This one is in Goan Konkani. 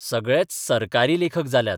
सगळेच 'सरकारी लेखक 'जाल्यात?